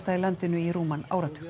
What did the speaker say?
í landinu í rúman áratug